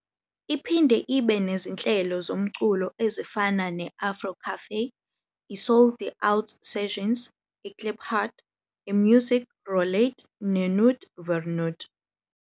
Iphinde ibe nezinhlelo zomculo ezifana ne-Afro Cafè, iSoul'd Out Sessions, iKliphard, iMusiek Roulette neNoot vir Noot.